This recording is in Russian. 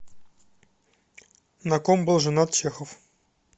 на ком был женат чехов